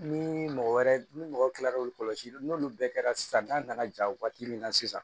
Ni mɔgɔ wɛrɛ ni mɔgɔ kila la k'olu kɔlɔsi n'olu bɛɛ kɛra sisan n'a nana ja waati min na sisan